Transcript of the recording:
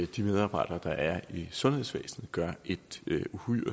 de medarbejdere der er i sundhedsvæsenet gør et